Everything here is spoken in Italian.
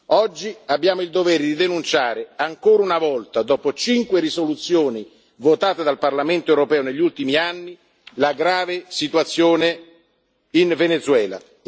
Oggi abbiamo il dovere di denunciare, ancora una volta dopo cinque risoluzioni votate dal Parlamento europeo negli ultimi anni, la grave situazione in Venezuela.